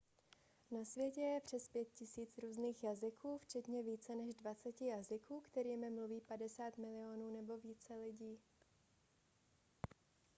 na světě je přes 5 000 různých jazyků včetně více než dvaceti jazyků kterými mluví 50 milionů nebo více lidí